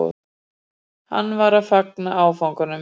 Hann var að fagna áfanganum